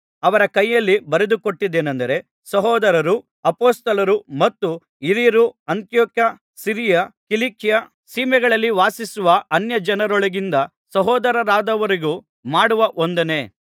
ಅವರ ಕೈಯಲ್ಲಿ ಬರೆದುಕೊಟ್ಟದ್ದೇನಂದರೆ ಸಹೋದರರೂ ಅಪೊಸ್ತಲರೂ ಮತ್ತು ಹಿರಿಯರೂ ಅಂತಿಯೋಕ್ಯ ಸಿರಿಯ ಕಿಲಿಕ್ಯ ಸೀಮೆಗಳಲ್ಲಿ ವಾಸಿಸುವ ಅನ್ಯಜನರೊಳಗಿಂದ ಸಹೋದರರಾದವರಿಗೂ ಮಾಡುವ ವಂದನೆ